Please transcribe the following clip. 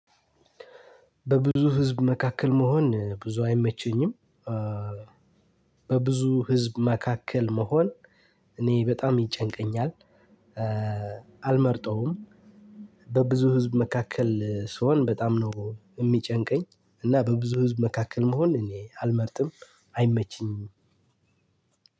በብዙ ህዝብ መካከል መሆን ብዙ አይመቸኝም። በብዙ ህዝብ መካከል መሆን እኔ በጣም ይጨንቀኛል። አልመርጠውም። በብዙ ህዝብ መካከል ስሆን በጣም ነው የሚጨንቀኝ። እና በብዙ ህዝብ መካከል መሆን እኔ አልመርጥም። አይመቸኝም።